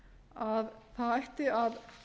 að það ætti að